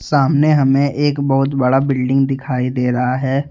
सामने हमे एक बहुत बडा बिल्डिंग दिखाई दे रहा है।